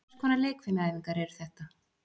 Hvers konar leikfimiæfingar eru þetta?